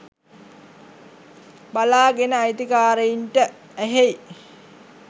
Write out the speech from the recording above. බලාගෙන අයිතිකාරයින්ට ඇහෙයි